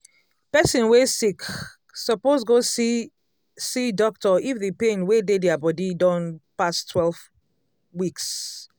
person wey sick suppose go see see doctor if the pain wey dey dia body don pass twelve weeks